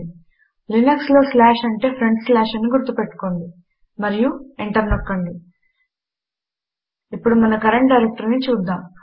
Linux లో slash అంటే front slash అని గుర్తుపెట్టుకోండి మరియు ఎంటర్ నొక్కండి ఇప్పుడు మన కరంట్ డైరెక్టరీని చూద్దాము